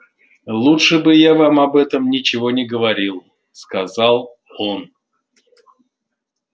лучше бы я вам об этом ничего не говорил сказал он